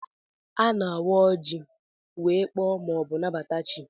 A na-awa oji wee kpọọ ma ọ bụ nabata chi.